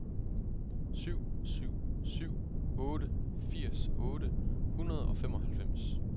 syv syv syv otte firs otte hundrede og femoghalvfems